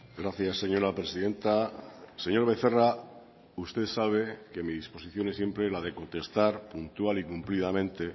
gracias señora presidenta señor becerra usted sabe que mi disposición es siempre la de contestar puntual y cumplidamente